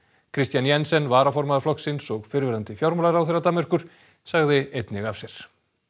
Kristian Jensen varaformaður flokksins og fyrrverandi fjármálaráðherra Danmerkur sagði einnig af sér